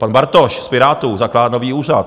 Pan Bartoš z Pirátů zakládá nový úřad.